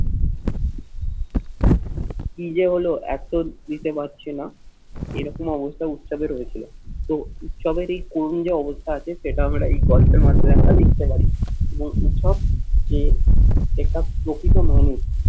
কি যে হলো এত দিতে পারছি না। এরকম অবস্থা উৎসবে হয়েছিল। তো উৎসবের এই করুণ যে অবস্থা আছে সেটা আমরা এই গল্পের মাধ্যমে আমরা দেখতে পারি এবং উৎসব যে এটা প্রকৃত মানুষ